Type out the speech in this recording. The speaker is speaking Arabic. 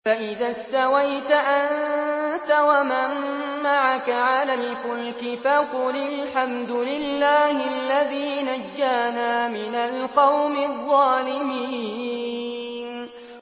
فَإِذَا اسْتَوَيْتَ أَنتَ وَمَن مَّعَكَ عَلَى الْفُلْكِ فَقُلِ الْحَمْدُ لِلَّهِ الَّذِي نَجَّانَا مِنَ الْقَوْمِ الظَّالِمِينَ